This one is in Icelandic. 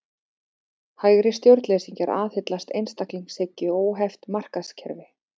Hægri stjórnleysingjar aðhyllast einstaklingshyggju og óheft markaðskerfi.